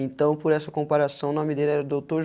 Então, por essa comparação, o nome dele era Doutor